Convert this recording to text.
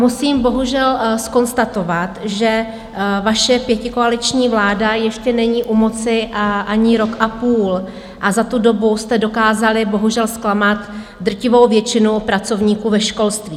Musím bohužel zkonstatovat, že vaše pětikoaliční vláda ještě není u moci ani rok a půl a za tu dobu jste dokázali bohužel zklamat drtivou většinu pracovníků ve školství.